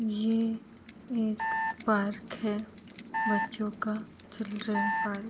ये एक पार्क है। बच्चों का चिल्ड्रन पार्क ।